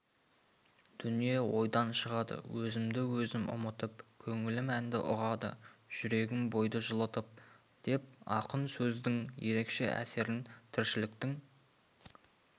дүние ойдан шығады өзімді өзім ұмытып көңілім әнді ұғады жүрегім бойды жылытып деп ақын сөздің ерекше әсерін тіршіліктің